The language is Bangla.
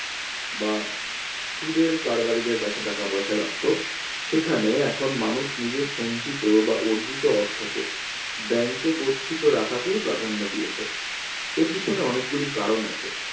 বা সুদের কারবারিদের কাছে টাকা পয়সা রাখতো সেখানে এখন মানুষ নিজের সঞ্চিত বা অর্জিত অর্থকে bank এ গচ্ছিত রাখাকেই প্রাধান্য দিয়েছে এর পিছনে অনেকগুলি কারন আছে